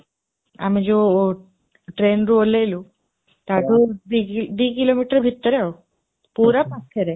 ଆମେ ଯୋଉ train ରୁ ଓହ୍ଲେଇଲୁ ତା ଠୁ ଦି kilometer ଭିତରେ ଆଉ, ପୁରା ପାଖରେ